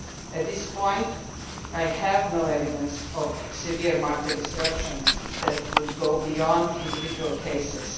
At this point I have no evidence of severe market disruptions that would go beyond individual cases.